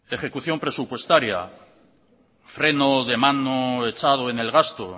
ejecución presupuestaria freno de mano echado en el gasto